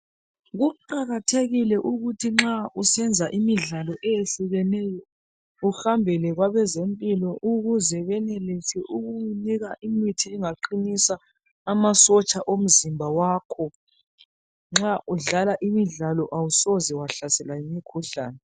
Kuqakathekile ukuthi nxa usenza imidlalo eyehlukeneyo uhambele kwabezempilo ukuze benelise ukukunika imithi engaqinisa amasotsha omzimba wakho nxa udlala imidlalo awusoze wahlaselwa yimikhuhlane